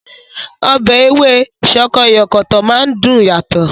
Ọbẹ̀ Ewé sọkọyọ̀kọ̀tọ̀ máa ń dùn yàtọ̀